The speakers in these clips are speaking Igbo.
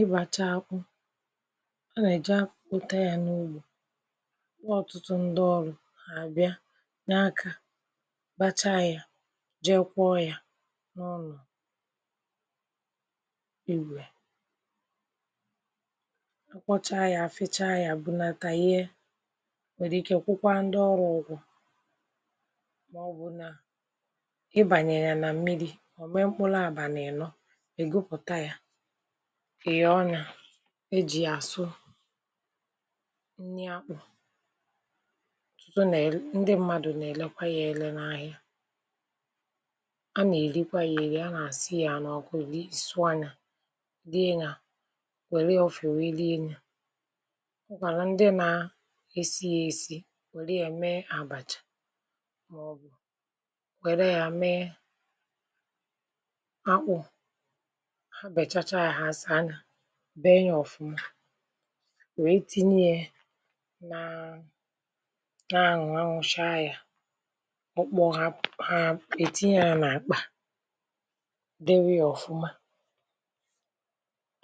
Ịbacha akpụ; a nà-èjà abụpụta ya n’ugbȯ, kpọọ ọtụtụ ndị ọrụ̇, àbịa, nye akȧ, bachaa ya, jee kwọ ya n’ọnụ igwe. Ịkwọchaa ya, fichaa ya bunata yee, nwèrè ike kwụkwaa ndị ọrụ ụgwụ̇, màọbụ̀ na ibànyènya na mmiri̇, ọ̀ mee mkpụlụ àbànị-ịnọ, ịgụpụta ya, inyọọ ya, e ji ya asụ nni akpu. Otutụ ndi mmadụ na elekwa ya ele n’ahia. A na erikwe ya eri, a na asụ ya n’ọku lie, sụọ ya, lie ya, nwere ya n’ofe lie ya. O nwekwara ndi na esi ya esi nwere ya mee abacha maọbụ, nwere ya mee akpụ. Ha bachacha ya, ha saa ya, bee ya ọfuma, wee tinye ye ne na anwụ, anwụ chaa ya., okpọo, ha etinye na akpa, dewe ya ọfuma,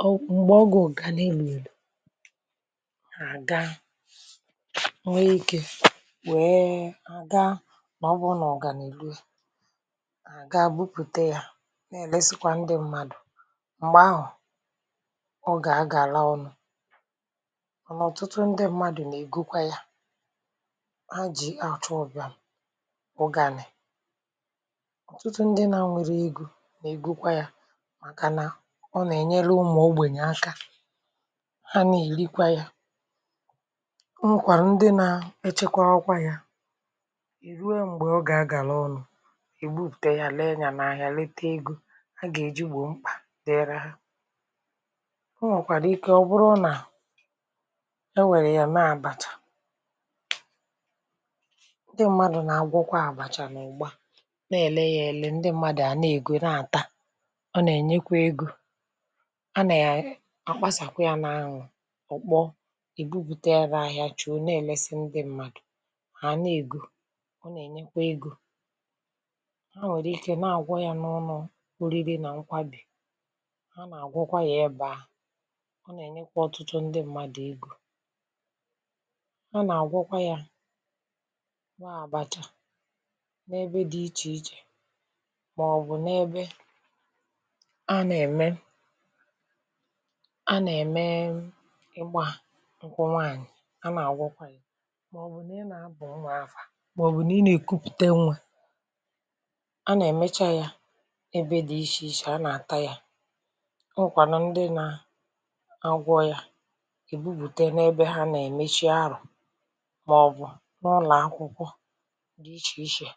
ọ mgbe oge ụgani luelu, ha agaa wee ike, ha gaa maọbu na ụgani eruo, ha ga bupute ya, na eresikwa, ndi mmadụ, mgbe ahụ ọ ga agala ọnụ mana ọtụtu mmadụ na egokwe ya, ha ji achụ ubiam ụgani, ọtụtụ ndị na enwero ego na egokwa ya, maka na ọ na enyere ụmụ ogbenye aka, ha n’elikwa ya. O nwekwara ndị na echekwawakwa ya, ruo mgbe oge ọ ga agala ọnụ, e bupute ya, lee ya, lete ego a ga eji gboo mkpa dee rahu. O nwekwara ike ọ bụ na, o were ya mee abacha. Ndi mmadụ na agwokwa abacha n’ụgba na ele ya ele, ndi mmadụ a na-ego na ata. O na enyekwe ego. A na e akapasa ya na anwụ, ọkpọọ, e bupute ya n’ahia chio chị̀ o, na-èlesi ndị mmadụ̀ hà a nà-ègo, ọ nà-ènyekwa ego. Ha nwèrè ike na-àgwọ ya n’ọnụ̇ oriri nà nkwa bì, ha na agwọkwa ya ebe ahụ. ọ nà-ènyekwa ọtụtụ ndị mmadụ̀ egȯ. A nà-àgwọkwa ya n’àbàcha n’ebe dị ichè ichè màọbụ̀ n’ebe anà-ème anà-ème m ịgbȧ ǹkwụ nwaànyị̀, a nà-àgwọkwa ya, màọbụ̀ n’ị nà-aba nwa afà, màọbụ̀ nà ị nà-èkupùte nwa. A nà-èmecha ya ebe dị̇ ichè ichè, a nà-àta ya.O nwekwanụ ndị na agwọ ya, ha èbupùte n’ebe a nà-èmechi arọ̀, màọ̀bụ̀ n’ụlọ̀ akwụkwọ di ichè ichè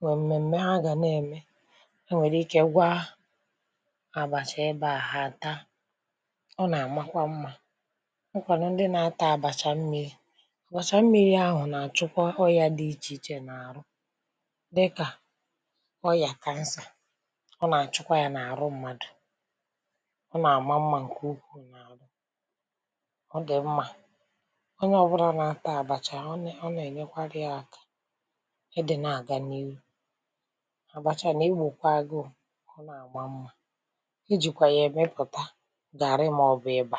nwè m̀mèm̀me ha gà n’ème, ha nwèrè ike gwaa àbàchà ebe àhụ, ha ataa, ọ nà àmakwa mmȧ. O nwekwanu ndi na-ata àbàchà mmiri̇, àbàchà mmiri̇ ahụ̀ nà àchụkwa ọyȧ dị ichè ichè nà àrụ, dịkà; ọyà kansà, ọ nà àchụkwa yȧ nà àrụ mmadù. ọ na ama mma nke ukwuu n’arụ. ọ dị̀ mmȧ, onye ọbụna nà-atà àbàchà ọ na ọ nà-ènyekwarị ya akȧ, ịdị nà-àga n’ihu. Abàchà nà egbòkwa agụụ, ọ nà-àma mmȧ ijìkwà yà èmepùta garrị màọbụ̀ ịbà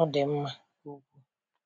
ọ dị̀ mmȧ nke ukwu.